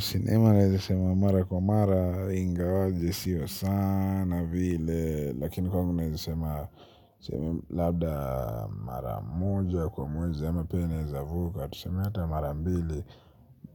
Sinema naeza sema mara kwa mara ingawaje sio sana vile. Lakini kwangu naeza sema labda mara moja kwa moja ama pia neza vuka. Tuseme ata mara mbili